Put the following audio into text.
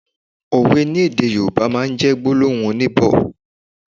Òwe ni èdè Yorùbá máa n jẹ́ gbólóhùn oníbọ̀